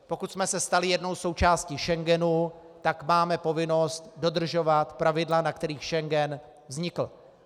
Pokud jsme se stali jednou součástí Schengenu, tak máme povinnost dodržovat pravidla, na kterých Schengen vznikl.